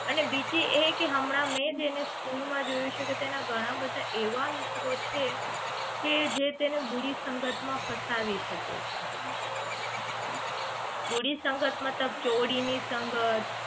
અને બીજી એ કે હમણાં મેં જ એને સ્કૂલમાં જોયું છે કે તેના ઘણા બધા એવા મિત્રો છે કે જે તેને બુરી સંગત માં ફસાવી શકે છે બુરી સંગત મતલબ કે ચોરી ની સંગત